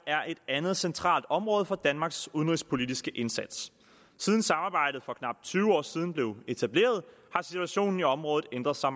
et andet centralt område for danmarks udenrigspolitiske indsats siden samarbejdet for knap tyve år siden blev etableret har situationen i området ændret sig